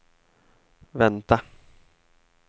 vänta